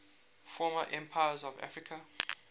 former empires of africa